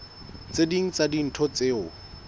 tse ding tsa dintho tseo